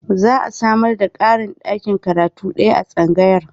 Za a samar da ƙarin ɗakin karatu ɗaya a tsangayar.